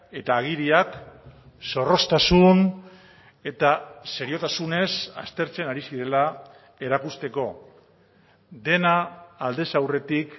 eta agiriak zorroztasun eta seriotasunez aztertzen ari zirela erakusteko dena aldez aurretik